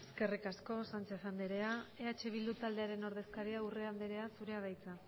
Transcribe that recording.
eskerrik asko sanchez andrea eh bildu taldearen ordezkaria urrea andrea zurea da hitza